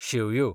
शेवयो